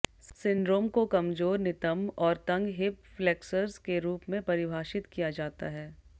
syndrome को कमजोर नितंब और तंग हिप फ्लेक्सर्स के रूप में परिभाषित किया जाता है